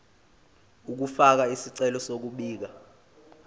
ukufaka isicelo sokubika